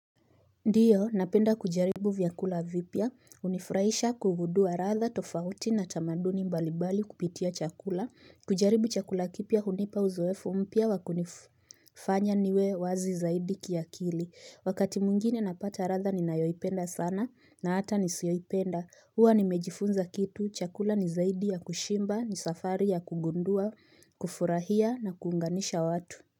Ndiyo, napenda kujaribu vyakula vipya, hunifurahisha kugudua ladha, tofauti na tamaduni mbalibali kupitia chakula, kujaribu chakula kipya hunipa uzoefu mpya wakunifanya niwe wazi zaidi kiakili, wakati mwngine napata ratha ni nayoipenda sana na hata nisioipenda, huwa ni mejifunza kitu, chakula ni zaidi ya kushimba, ni safari ya kugundua, kufurahia na kuunganisha watu.